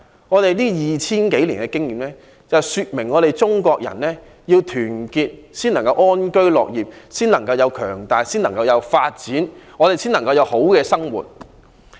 我們這 2,000 多年的經驗，說明我們中國人要團結，國家才能強大，才能有發展，我們才能安居樂業，才能有好的生活。